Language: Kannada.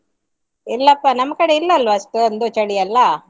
ಇಲ್ಲಪ್ಪಾ ನಮ್ಕಡೆ ಇಲ್ಲ ಅಲ್ವಾ ಅಷ್ಟೊಂದು ಚಳಿಯೆಲ್ಲಾ.